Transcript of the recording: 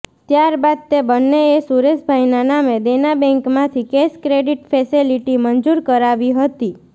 ત્યાર બાદ તે બંનેએ સુરેશભાઈના નામે દેનાબેંકમાંથી કેશ ક્રેડીટ ફેસેલીટી મંજુર કરાવી હતી